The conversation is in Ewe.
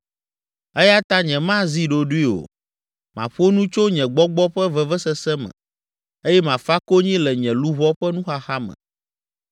“Eya ta nyemazi ɖoɖoe o, maƒo nu tso nye gbɔgbɔ ƒe vevesese me, eye mafa konyi le nye luʋɔ ƒe nuxaxa me.